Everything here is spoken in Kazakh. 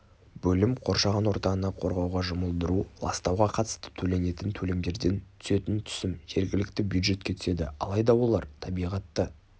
бөлім қоршаған ортаны қорғауға жұмылдыру ластауға қатысты төленетін төлемдерден түсетін түсім жергілікті бюджетке түседі алайда олар табиғатты